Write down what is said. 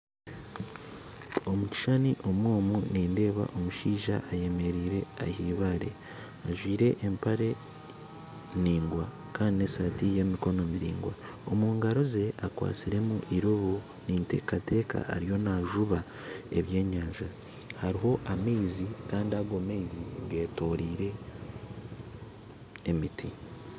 Omu kishushani omu omu nindeeba omushaija ayemereire aha eibaare ajwaire empare ndaingwa kandi n'esaati y'emikono miraingwa omu ngaro ze akwatsiremu eirobo ninteekateeka ariyo naajuba ebyenyanja hariho amaizi kandi ago amaizi getoroire emiti